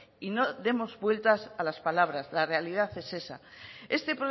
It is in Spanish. y no demos vueltas a las palabras la realidad es esa este